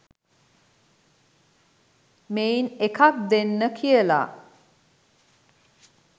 මෙයින් එකක් දෙන්න කියලා.